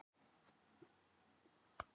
Dánarmein hennar var æðasjúkdómur